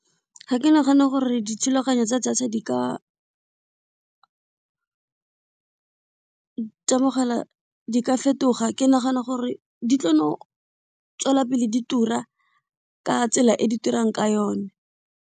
Ga ke nagane gore dithulaganyo tsa data di ka tsa mogala di ka fetoga, ke nagana gore di tlo no tswelela pele di tura ka tsela e di turang ka yone.